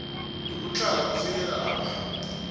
yokutlhala kufikela lapha